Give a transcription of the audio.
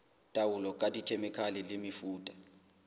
taolo ka dikhemikhale le mefuta